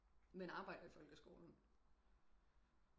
Men arbejder i folkeskolen